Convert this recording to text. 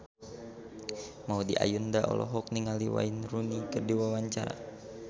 Maudy Ayunda olohok ningali Wayne Rooney keur diwawancara